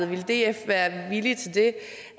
ville df være villig til